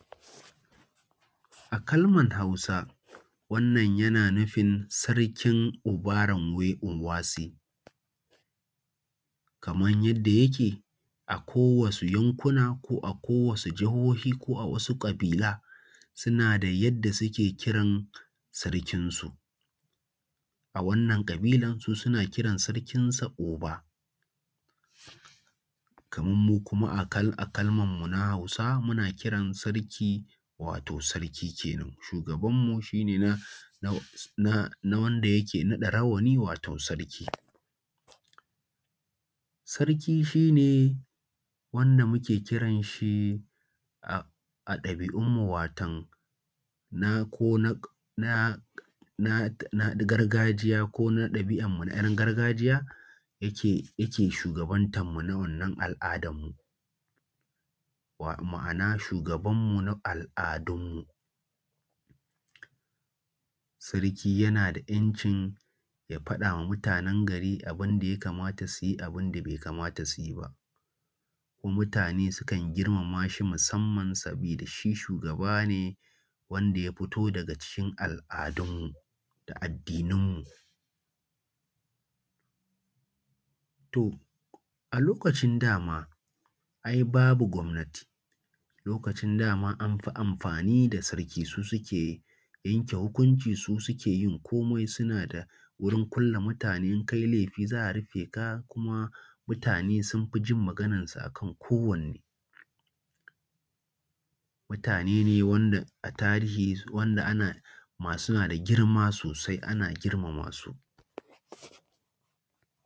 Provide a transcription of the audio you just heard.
A kalman Hausa wannan yana nufin Sarkin obaramwe onwase, kamar yadda yake a ko wasu yankuna ko a ko wasu jahohi ko a wasu ƙabila suna da yadda suke kiran sarkinsu. A wannan ƙabilar su suna kiran sarkinsu Oba, kaman mu kuma a kal a kalmar mu na Hausa muna kiran Sarki wato Sarki kenan, shugabanmu na na wanda yake naɗa rawani wato Sarki. Sarki shi ne wanda muke kiran shi a ɗabi'unmu watan na ko nak na na gargajiya ko na ɗabi'anmu na kayan gargajiya yake yake shugabantan mu na wannan al'adan mu, ma'ana shugabanmu na al'adunmu. Sarki yana da 'yancin ya faɗa ma mutanen gari abin da ya kamata su yi da abun da bai kamata su yi ba. Mutane sukan girmama shi musamman sabida da shi shugaba ne wanda ya fito daga cikin al'adunmu da addinan mu. To a lokacin da ma ai babu gwamnati, a lokacin da ma an fi amfani da sarki, su suke yanke hukunci su suke yin komai suna da wurin kulle mutane, in ka yi laifi za a rufe ka, kuma mutane sun fi jin maganarsa akan kowanne. Mutane ne wanda a tarihi wanda ana ma suna da girma sosai ana girma masu.